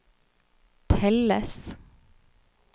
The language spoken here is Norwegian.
telles